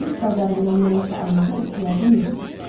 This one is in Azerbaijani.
Bit bazarından nəyisə almağa ehtiyacım yox idi.